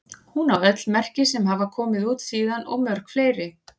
Hún á öll merki sem hafa komið út síðan og mörg fleiri.